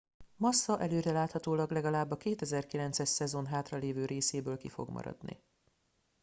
massa előreláthatólag legalább a 2009 es szezon hátralévő részéből ki fog maradni